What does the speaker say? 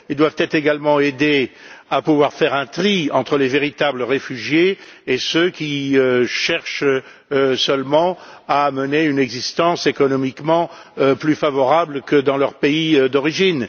Ils doivent être également aidés à pouvoir faire un tri entre les véritables réfugiés et ceux qui cherchent seulement à mener une existence économiquement plus favorable que dans leur pays d'origine.